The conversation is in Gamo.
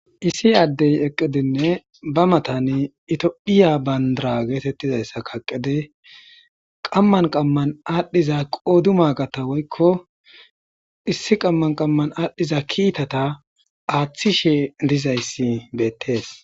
Issi adey eqidine be matan tophiya bandiri getetizaysa kaqidi qaman qaman adiza qodimagata woykon issi qaman qaman adhiza kitata athishe dizaysi betes